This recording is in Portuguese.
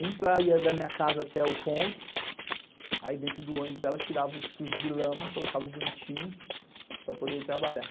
Um para ir da minha casa até o ponto, aí dentro do ônibus ela tirava os chuchos de lama, colocava bonitinho para poder ir trabalhar.